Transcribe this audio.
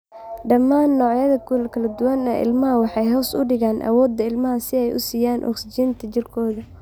Dhammaan noocyada kala duwan ee ILMAHA waxay hoos u dhigaan awoodda ilmaha si ay u siiyaan oksijiinta jirkooda.